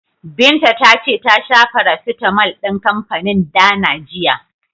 Binta ta ce ta sha farasitamol din kanfanin Dana jiya.